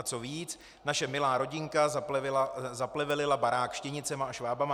A co víc, naše milá rodinka zaplevelila barák štěnicemi a šváby.